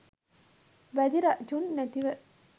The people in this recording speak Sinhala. වැදි රජුන් නැතිව